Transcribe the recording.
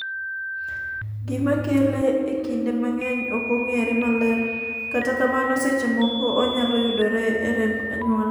gima kele e kinde mang'eny ok ong'ere maler, kata kamano seche moko onyalo yudore e remb anyuola